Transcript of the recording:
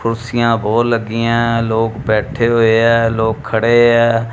ਕੁਰਸੀਆ ਬਹੁਤ ਲੱਗੀਆਂ ਲੋਕ ਬੈਠੇ ਹੋਏ ਆ ਲੋਕ ਖੜੇ ਆ।